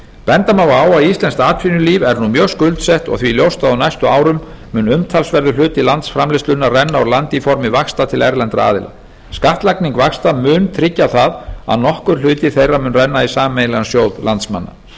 benda má á að íslenskt atvinnulíf er nú mjög skuldsett og því ljóst að á næstu árum mun umtalsverður hluti landsframleiðslunnar renna úr landi í formi vaxta til erlendra aðila skattlagning vaxta mun tryggja það að nokkur hluti þeirra mun renna í sameiginlegan sjóð landsmanna